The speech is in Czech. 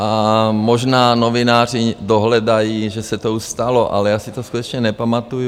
A možná novináři dohledají, že se to už stalo, ale já si to skutečně nepamatuji.